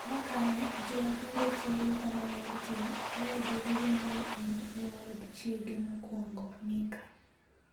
Ma kane ji openjo chiege kama ne entie, ne odwokogi ni ne en e od chiege mokwongo (Mika.